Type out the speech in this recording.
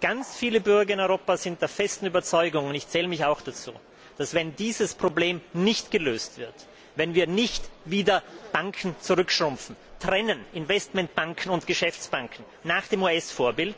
Ganz viele Bürger in Europa sind der festen Überzeugung und ich zähle mich auch dazu dass sich, wenn dieses Problem nicht gelöst wird, wenn wir nicht wieder Banken zurückschrumpfen, Investmentbanken und Geschäftsbanken nach dem US Vorbild